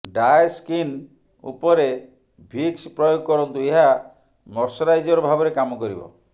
dry skin ଉପରେ Vicks ପ୍ରୟୋଗ କରନ୍ତୁ ଏହା ମଶ୍ଚରାଇଜର ଭାବରେ କାମ କରିବ